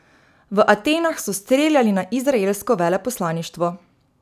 V Atenah so streljali na izraelsko veleposlaništvo.